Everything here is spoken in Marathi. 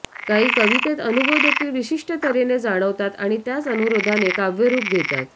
काही कवितेत अनुभव देखील विशिष्ट तऱ्हेने जाणवतात आणि त्याच अनुरोधाने काव्यरूप घेतात